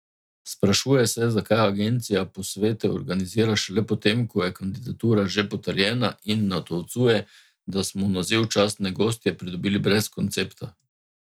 Sprašuje se, zakaj agencija posvete organizira šele po tem, ko je kandidatura že potrjena, in natolcuje, da smo naziv častne gostje pridobili brez koncepta.